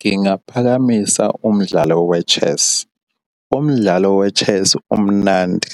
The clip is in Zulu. Ngingaphakamisa umdlalo we-chess. Umdlalo we-chess umnandi